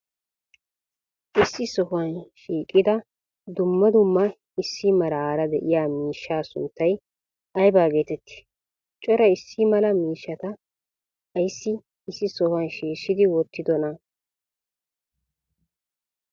issi sohuwa shiqqida duummaa duummaa issi meraara de7iya miishshaa sunttay ayba geteetti? cora issi maalaa miishshataa aysi issi sohuwa shishshidi wotidonaa?